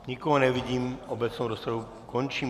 Nikoho nevidím, obecnou rozpravu končím.